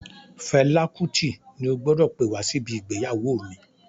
Fela Kuti ni o gbọdọ̀ pè wá sí ibi ìgbéyàwó mi.